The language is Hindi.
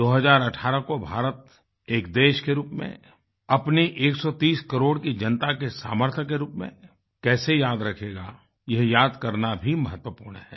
2018 को भारत एक देश के रूप में अपनी एक सौ तीस करोड़ की जनता के सामर्थ्य के रूप में कैसे याद रखेगा यह याद करना भी महत्वपूर्ण है